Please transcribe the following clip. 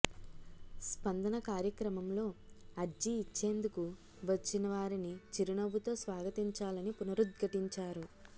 స్పందన కార్యక్రమంలో అర్జీ ఇచ్చేందుకు వచ్చిన వారిని చిరునవ్వుతో స్వాగతించాలని పునరుద్ఘాటించారు